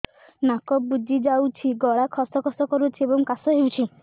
ନାକ ବୁଜି ଯାଉଛି ଗଳା ଖସ ଖସ କରୁଛି ଏବଂ କାଶ ହେଉଛି